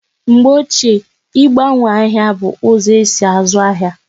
Mgbe ochie, igbanwo ahịa bụ ụzọ esi azụ ahịa